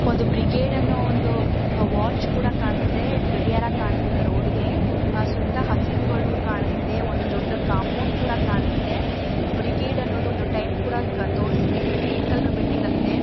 ಒಂದು ಬ್ರಿಗೇಡ್ ಅನ್ನು ಒಂದು ವಾಚ್ ಕೂಡ ಕಾಣಿಸ್ತಿದೆ ಗಡಿಯಾರ ಕಾಣಿಸ್ತಿದೆ ರೋಡಿಗೆ ಸುತ್ತ ಹಸಿರುಗಳು ಕಾಣಿಸ್ತಿದೆ ಒಂದು ದೊಡ್ಡ ಕಾಂಪೌಂಡ್ ಕೂಡ ಕಾಣಿಸ್ತಿದೆ ಬ್ರಿಗೇಡ್ ಅನ್ನೊದು ಒಂದು ಟೈಮ್ ಕೂಡ ತೋರಿಸುತ್ತಿದೆ ಕ್ರೀಮ್ ಕಲರ್ ಬಿಲ್ಡಿಂಗ್ ಅಲ್ಲಿದೆ --